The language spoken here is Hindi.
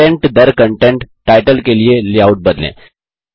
कन्टेंट दर कन्टेंट टाइटल के लिए लेआउट बदलें